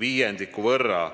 viiendiku võrra.